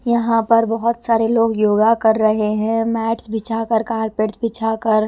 यहाँ पर बहुत सारे लोग योगा कर रहे हैं मैट्स बिछाकर कार्पेट्स बिछाकर.--